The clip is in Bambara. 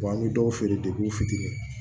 Wa an bɛ dɔw feere u fitiri